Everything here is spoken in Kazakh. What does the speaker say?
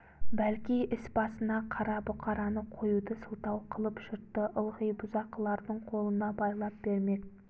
бәлки іс басына қара бұқараны қоюды сылтау қылып жұртты ылғи бұзақылардың қолына байлап бермек